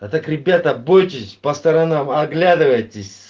а так ребята бойтесь по сторонам оглядывайтесь